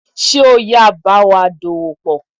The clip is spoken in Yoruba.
Sé ò yáà báwa dòwòpọ̀